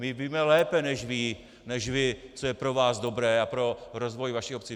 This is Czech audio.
My víme lépe než vy, co je pro vás dobré a pro rozvoj vaší obce!